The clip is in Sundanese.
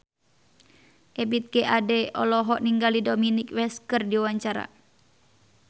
Ebith G. Ade olohok ningali Dominic West keur diwawancara